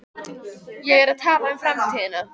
Ég er að tala um framtíðina.